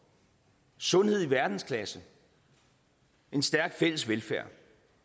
sundhed i verdensklasse en stærk fælles velfærd